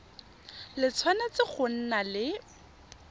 le tshwanetse go nna le